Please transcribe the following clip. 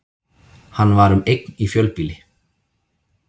Hann var um eign í fjölbýli